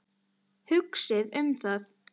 Hugsið um það.